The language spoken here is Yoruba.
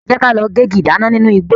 Jẹ́ ka lọ gégi ìdáná nínu igbó.